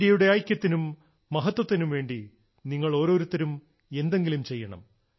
ഇന്ത്യയുടെ ഐക്യത്തിനും മഹത്വത്തിനും വേണ്ടി നിങ്ങൾ ഒരോരുത്തരും എന്തെങ്കിലും ചെയ്യണം